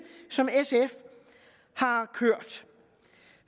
som sf har kørt